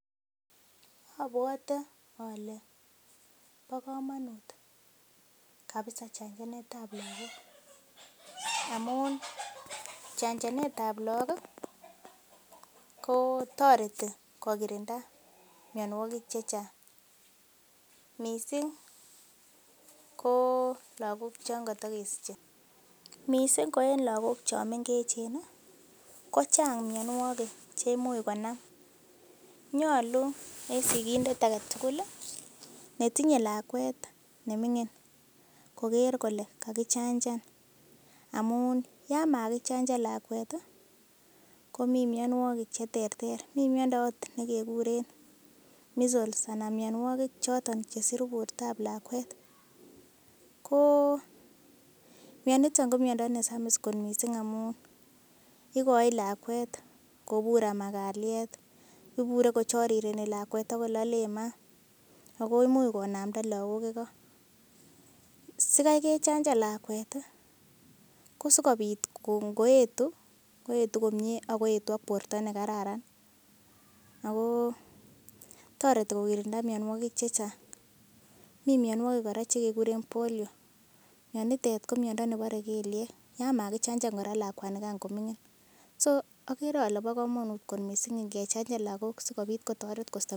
Obwote ale bo komonut kabisa chanjanet ab lagok, amun chanjanet ab lagok ii kotoreti kogirinda minawogik che chang. Mising ko lagok chon kotokesiche. Mising ko lagok che mengechen kochang mianwogik che imuche konam. Nyolu en sigindet age tugul netiye lakwet neming'in koger kole kagichanjan amun yamakichanjan lakwet komi mianwogik che terter. Mi miando agot ne keguren Measles anan mianwogik choton chesiru bortab lakwet. Ko mianito ko miondo nesamis kot mising amun igochin lakwet kobur ama kalyet. Ibure kochorireni lakwet ak kololen maa ago imuch konamda lagok igo. Sikai kechanjan lakwet kosigobit ngoetu, koet komye ak koetu ak borto nekararan ago toreti kogirinda mianwogik che chang. Mi mianwogik kora che keguren Polio mianitet ko miondo nebore kelyek. Yan magichanjan kora lakwanigan koming'in so agere ole bo komonut mising ngechanjan lagok sikobit kotoret.